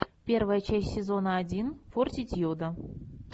первая часть сезона один фортитьюда